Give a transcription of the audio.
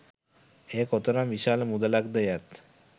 එය කොතරම් විශාල මුදලක් ද යත්